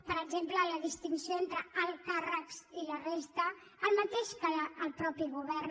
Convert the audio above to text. per exemple la distinció entre alts càrrecs i la resta el mateix que el mateix govern